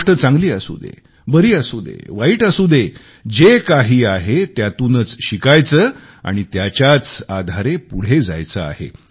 गोष्ट चांगली असू दे बरी असू दे वाईट असू दे जे काही आहे त्यातूनच शिकायचे आणि त्याच्याच आधारे पुढे जायचे आहे